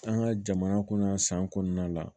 An ka jamana kɔnɔ yan san kɔnɔna la